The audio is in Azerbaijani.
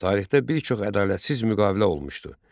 Tarixdə bir çox ədalətsiz müqavilə olmuşdu.